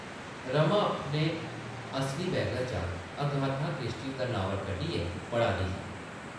रमा अपने असली बैगा चा अगाथा क्रिस्टी दा नावल कड्ढियै पढ़ा दी ही ।